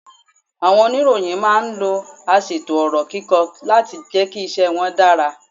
Àwọn oníròyìn máa ń lo aṣètò ọ̀rọ̀ kíkọ láti jẹ́ kí iṣẹ́ wọn dára.